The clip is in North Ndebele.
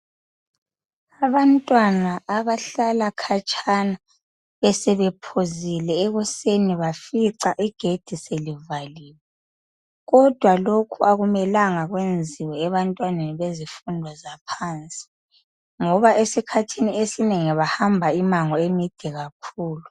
Abantwana abahlala khatshana besebephuzile ekuseni bafica igedi selivaliwe kodwa lokhu akumelanga kwenziwe ebantwaneni bezifundweni zaphansi ngoba esikhathini esinengi bahamba immango emide kakhulu.